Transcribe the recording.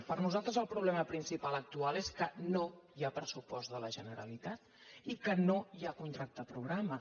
per a nosaltres el problema principal actual és que no hi ha pressupost de la generalitat i que no hi ha contracte programa